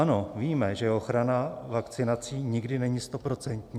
Ano, víme, že ochrana vakcinací nikdy není stoprocentní.